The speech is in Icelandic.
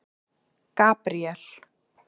Gabríel